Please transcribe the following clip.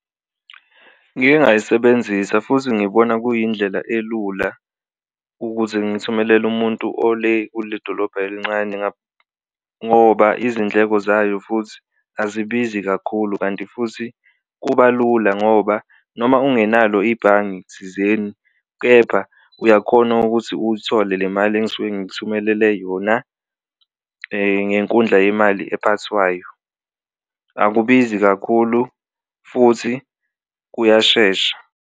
Ngike ngayisebenzisa futhi ngibona kuyindlela elula ukuze ngithumelele umuntu ole kule dolobha elincane ngoba izindleko zayo futhi azibizi kakhulu, kanti futhi kuba lula kubo ngoba noma ungenalo ibhange thizeni kepha uyakhona ukuthi uyithole le mali engisuke ngikuthumelele yona ngenkundla yemali eziphathwayo. Akubizi kakhulu futhi kuyashesha.